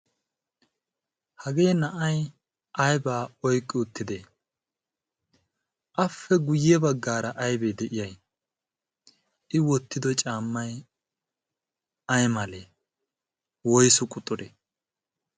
hagee na'ai aibaa oiqqi uttide ape guyye baggaara aibee de'iya i wottido caammay ay malee woisu quxxuree?